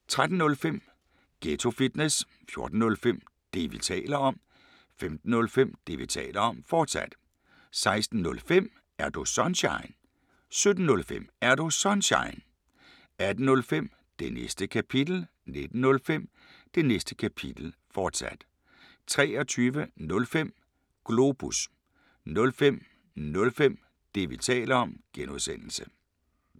13:05: Ghetto Fitness 14:05: Det, vi taler om 15:05: Det, vi taler om, fortsat 16:05: Er Du Sunshine? 17:05: Er Du Sunshine? 18:05: Det Næste Kapitel 19:05: Det Næste Kapitel, fortsat 23:05: Globus 05:05: Det, vi taler om (G)